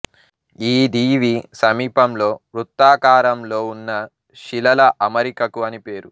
ఈ దీవి సమీపంలో వృత్తాకారంలో ఉన్న శిలల అమరికకు అని పేరు